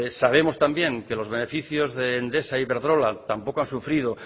sabemos también que los beneficios de endesa e iberdrola tampoco han sufrido